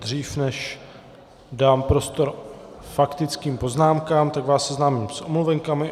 Dřív než dám prostor faktickým poznámkám, tak vás seznámím s omluvenkami.